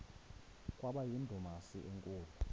kwaba yindumasi enkulu